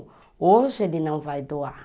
Hoje ele não vai doar.